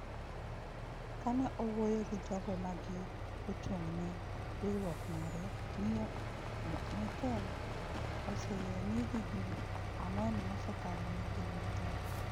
Ka ne owuoyo gi jogo ma gi ochung’ ne riwruok mare, Miyo Merkel oseyie ni higni ang’wen mosekalo ne gin matek.